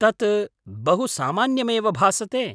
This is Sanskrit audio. तत् बहु सामान्यमेव भासते।